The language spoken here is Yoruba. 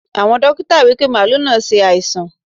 Àwọn dókítà wípé màálù náà ṣe àìsàn.